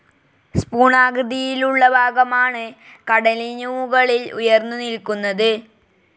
Spoon ആകൃതിയിലുള്ളഭാഗമാണ് കടലിനുമുകളിൽ ഉയർന്നു നിൽക്കുന്നത്.